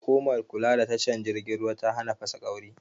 Hukumar kula da tashar jirgin ruwa ta hana fasaƙauri